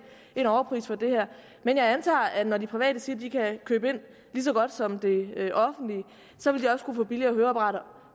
en overpris for det her men jeg antager at når de private siger at de kan købe ind lige så godt som det offentlige så vil de også kunne få billigere høreapparater og